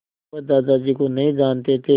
वह दादाजी को नहीं जानते थे